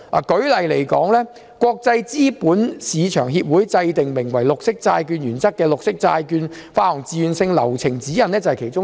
舉例來說，國際資本市場協會制訂名為《綠色債券原則》的綠色債券發行自願性流程指引，便是其中之一。